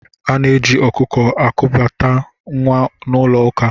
Ana-eji ọkụkọ ekubata nwa n'ụlọ ụka.